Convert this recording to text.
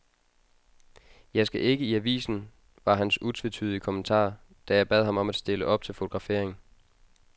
Jeg skal ikke i avisen, var hans utvetydige kommentar, da jeg bad ham om at stille op til fotografering.